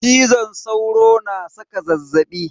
Cizon sauro na saka zazzaɓi.